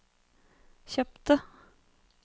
kjøpte